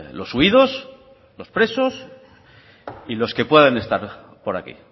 los huidos los presos y los que puedan estar por aquí